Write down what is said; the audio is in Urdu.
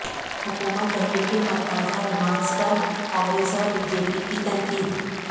حکومت دہلی کے متنازعہ ریمارکس پر کانگریس اور بی جے پی کی تنقید